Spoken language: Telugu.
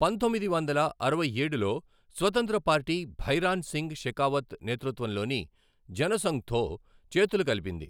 పంతొమ్మిది వందల అరవై ఏడులో స్వతంత్ర పార్టీ భైరాన్ సింగ్ షెకావత్ నేతృత్వంలోని జనసంఘ్తో చేతులు కలిపింది.